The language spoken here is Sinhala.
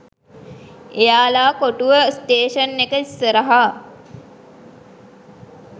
එයාල කොටුව ස්ටේෂන් එක ඉස්සරහ